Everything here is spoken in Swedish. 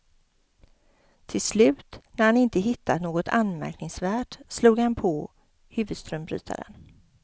Till slut, när han inte hittat något anmärkningsvärt, slog han på huvudströmbrytaren.